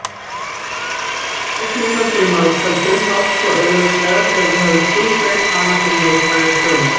Reglurnar fyrir margföldun fást svo auðveldlega þegar við höfum skilgreint hana fyrir neikvæðar tölur.